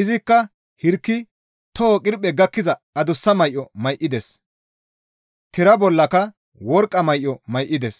Izikka hirki toho qirphe gakkiza adussa may7o may7ides; tira bollaka worqqa may7o may7ides.